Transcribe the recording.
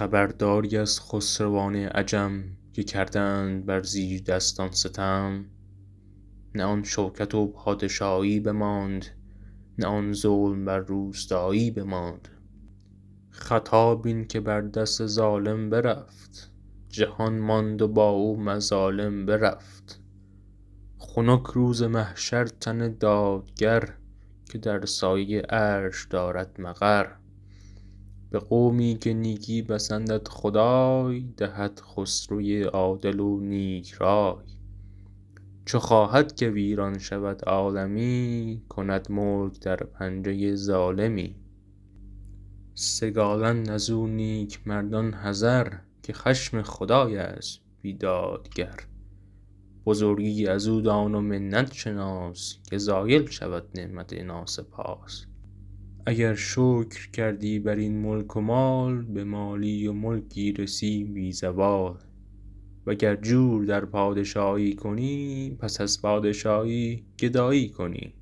خبرداری از خسروان عجم که کردند بر زیردستان ستم نه آن شوکت و پادشایی بماند نه آن ظلم بر روستایی بماند خطا بین که بر دست ظالم برفت جهان ماند و با او مظالم برفت خنک روز محشر تن دادگر که در سایه عرش دارد مقر به قومی که نیکی پسندد خدای دهد خسروی عادل و نیک رای چو خواهد که ویران شود عالمی کند ملک در پنجه ظالمی سگالند از او نیکمردان حذر که خشم خدای است بیدادگر بزرگی از او دان و منت شناس که زایل شود نعمت ناسپاس اگر شکر کردی بر این ملک و مال به مالی و ملکی رسی بی زوال وگر جور در پادشایی کنی پس از پادشایی گدایی کنی